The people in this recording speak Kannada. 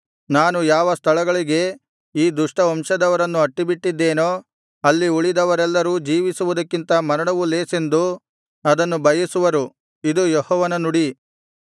ನಾನು ಯಾವ ಸ್ಥಳಗಳಿಗೆ ಈ ದುಷ್ಟ ವಂಶದವರನ್ನು ಅಟ್ಟಿಬಿಟ್ಟಿದ್ದೆನೋ ಅಲ್ಲಿ ಉಳಿದವರೆಲ್ಲರೂ ಜೀವಿಸುವುದಕ್ಕಿಂತ ಮರಣವು ಲೇಸೆಂದು ಅದನ್ನು ಬಯಸುವರು ಇದು ಯೆಹೋವನ ನುಡಿ